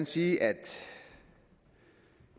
sige at